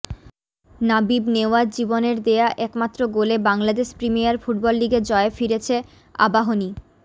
নাবিব নেওয়াজ জীবনের দেয়া একমাত্র গোলে বাংলাদেশ প্রিমিয়ার ফুটবল লিগে জয়ে ফিরেছে আবাহনী